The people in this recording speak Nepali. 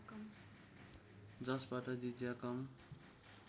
जसबाट जिज्या कम